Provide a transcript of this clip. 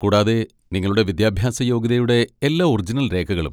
കൂടാതെ നിങ്ങളുടെ വിദ്യാഭ്യാസ യോഗ്യതയുടെ എല്ലാ ഒറിജിനൽ രേഖകളും.